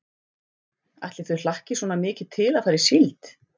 Ætli þau hlakki svona mikið til að fara í síld.